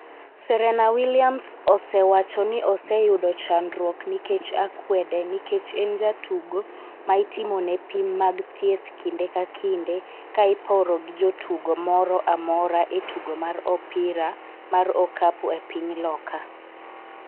Serena Williams osewacho ni oseyudo chandruok nikech akwede nikech en jatugo ma itimo ne pim mag thieth kinde ka kinde ka iporo gi jatugo moro amora e tugo mar opira mar okap e piny Loka